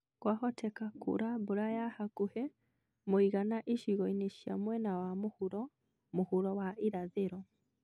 Kwahoteka kura mbura ya hakuhĩ mũigana icigo-inĩ cia mwena wa mũhuro mũhuro wa irathĩro.